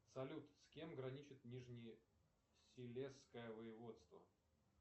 салют с кем граничит нижнесилезское воеводство